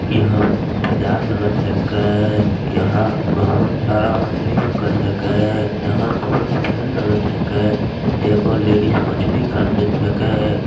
यहाँ बजार लगत हकै यहाँ बहुत सारा मछली दिखत हकै यहाँ बहुत भीड़ लगत हकै एगो लेडिस मछली खरीदीत हकै।